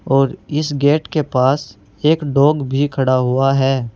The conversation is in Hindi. और इस गेट के पास एक डॉग भी खड़ा हुआ है।